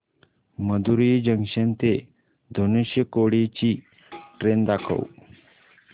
Madurai junction ते धनुषकोडी ची train दाखव